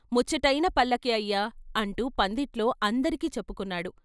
ముచ్చటైన పల్లకీ అయ్యా అంటూ పందిట్లో అందరికీ చెప్పుకుంటున్నాడు.